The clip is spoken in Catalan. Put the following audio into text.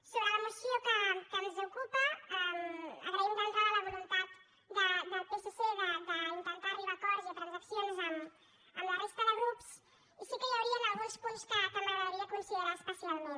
sobre la moció que ens ocupa agraïm d’entrada la voluntat del psc d’intentar arribar a acords i a transaccions amb la resta de grups i sí que hi haurien alguns punts que m’agradaria considerar especialment